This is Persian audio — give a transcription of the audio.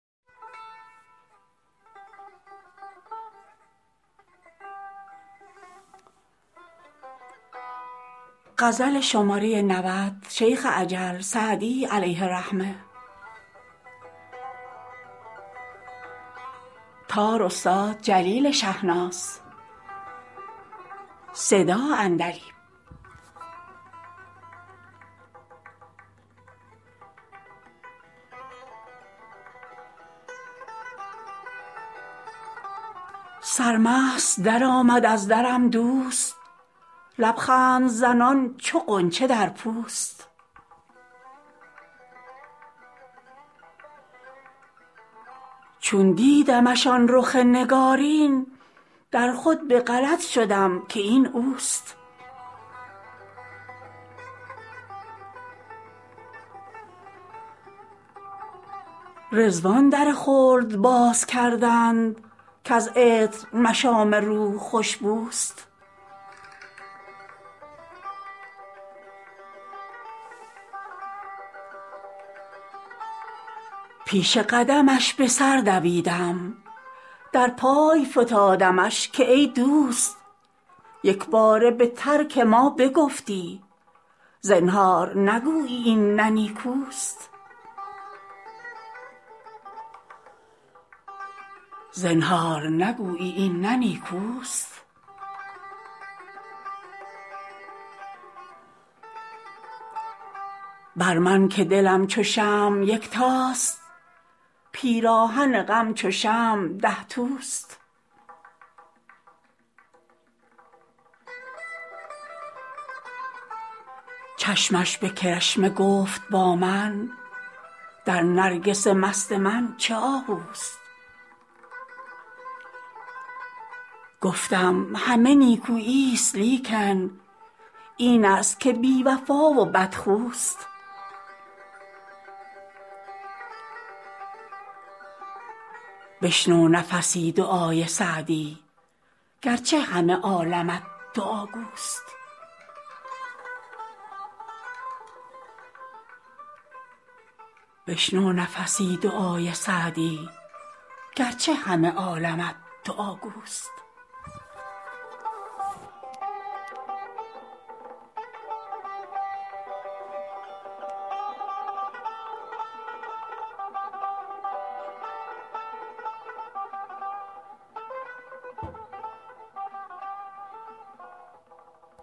سرمست درآمد از درم دوست لب خنده زنان چو غنچه در پوست چون دیدمش آن رخ نگارین در خود به غلط شدم که این اوست رضوان در خلد باز کردند کز عطر مشام روح خوش بوست پیش قدمش به سر دویدم در پای فتادمش که ای دوست یک باره به ترک ما بگفتی زنهار نگویی این نه نیکوست بر من که دلم چو شمع یکتاست پیراهن غم چو شمع ده توست چشمش به کرشمه گفت با من در نرگس مست من چه آهوست گفتم همه نیکویی ست لیکن این است که بی وفا و بدخوست بشنو نفسی دعای سعدی گر چه همه عالمت دعاگوست